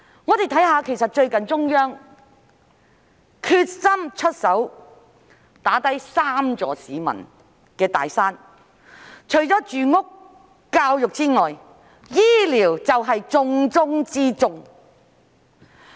我們看看，最近中央決心出手打低三座市民面對的"大山"，除住屋和教育之外，醫療便是重中之重。